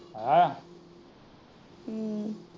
ਹਮ